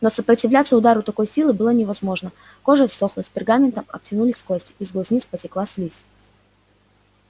но сопротивляться удару такой силы было невозможно кожа ссохлась пергаментом обтянулись кости из глазниц потекла слизь